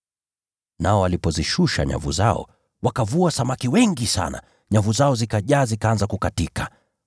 Nao walipozishusha nyavu zao, wakavua samaki wengi sana, nyavu zao zikajaa zikaanza kukatika.